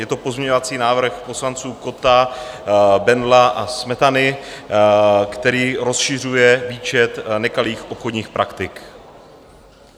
Je to pozměňovací návrh poslanců Kotta, Bendla a Smetany, který rozšiřuje výčet nekalých obchodních praktik.